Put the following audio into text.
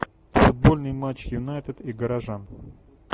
футбольный матч юнайтед и горожан